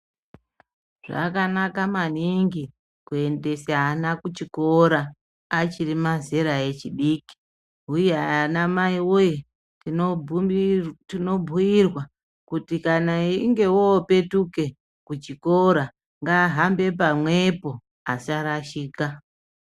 Zvakanaka maningi kuendese ana kuchikora achiri mazera echidiki uye ana mai wee tinobudi tinobhuirwa kuti kana einge opetuke kuchikora ngaahambe pamwepo asarashika.